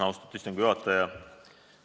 Austatud istungi juhataja!